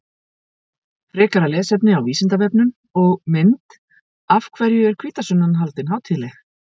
Frekara lesefni á Vísindavefnum og mynd Af hverju er hvítasunnan haldin hátíðleg?